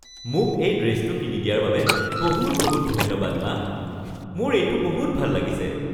মোক এই ড্ৰেছটো কিনি দিয়াৰ বাবে বহুত বহুত ধন্যবাদ, মা! মোৰ এইটো বহুত ভাল লাগিছে।